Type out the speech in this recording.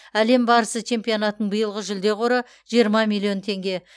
әлем барысы чемпионатының биылғы жүлде қоры жиырма миллион теңге